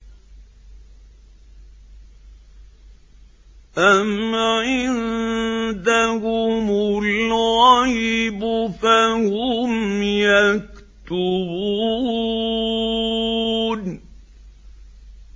أَمْ عِندَهُمُ الْغَيْبُ فَهُمْ يَكْتُبُونَ